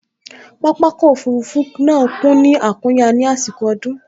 Pápákọ̀ òfurufú náà kún ní àkúnya ní àsìkò ọdún